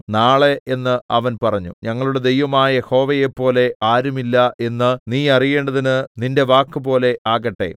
നാളെ എന്ന് അവൻ പറഞ്ഞു ഞങ്ങളുടെ ദൈവമായ യഹോവയെപ്പോലെ ആരുമില്ല എന്ന് നീ അറിയേണ്ടതിന് നിന്റെ വാക്കുപോലെ ആകട്ടെ